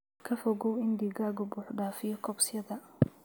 Ka fogow in digaaggu buux dhaafiyo coopsyada.